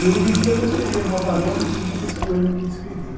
E, hoje em dia, estou escrevendo uma paródia em cima desse poema que escrevi.